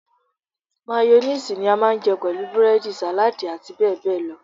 Máyónísiìsì ni a máa ń jẹ pẹ̀lú búrẹ́dì, sàládì àti bẹ́ẹ̀ bẹ́ẹ̀ lọ.